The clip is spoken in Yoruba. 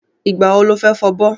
Ìgbà wo lo fẹ́ fọbọ́?